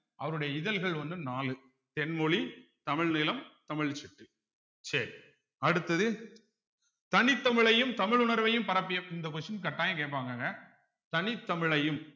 அவருடைய இதழ்கள் வந்து நாலு தென்மொழி தமிழ் நிலம் தமிழ் சிட்டு சரி அடுத்தது தனித்தமிழையும் தமிழ் உணர்வையும் பரப்பிய இந்த question கட்டாயம் கேட்பாங்கங்க தனித் தமிழையும்